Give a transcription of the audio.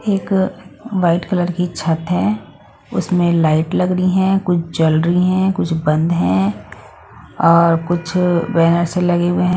एक white colour की छत है उसमें लाइट लग रही है कुछ जल रही हैं कुछ बंद है और कुछ बैनर्स लगे हुए है।